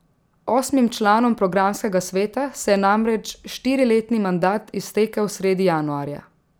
Osmim članom programskega sveta se je namreč štiriletni mandat iztekel sredi januarja.